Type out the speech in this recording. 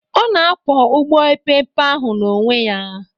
Ọ na-akwọ ụgbọ epeepe ahụ n'onwe ya